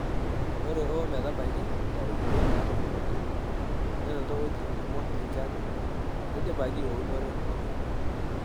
Ore o metabaiki ntarikini naatolimuoki, nenoto wuejitin kumok enchan neidipaki eunore pookin.